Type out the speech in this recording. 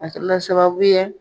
A la sababu ye